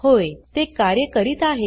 होय ते कार्य करीत आहे